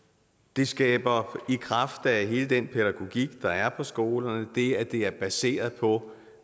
det skaber i kraft af hele den pædagogik der er på skolerne det at det er baseret på